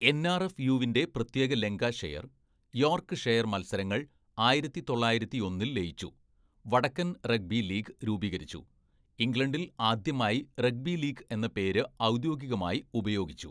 N R F യുവിൻ്റെ പ്രത്യേക Lancashire, Yorkshire മത്സരങ്ങൾ ആയിരത്തി തൊള്ളായിരത്തിയൊന്നിൽ ലയിച്ചു, വടക്കൻ റഗ്ബി ലീഗ് രൂപീകരിച്ചു, ഇംഗ്ലണ്ടിൽ ആദ്യമായി റഗ്ബി ലീഗ് എന്ന പേര് ഔദ്യോഗികമായി ഉപയോഗിച്ചു.